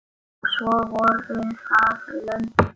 Og svo voru það lömbin.